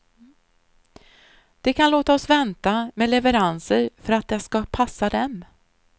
De kan låta oss vänta med leveranser för att det ska passa dem.